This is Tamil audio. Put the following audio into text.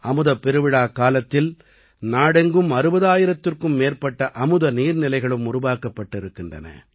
அமுதப் பெருவிழாக்காலத்தில் நாடெங்கும் 60000த்திற்கும் மேற்பட்ட அமுத நீர்நிலைகளும் உருவாக்கப்பட்டிருக்கின்றன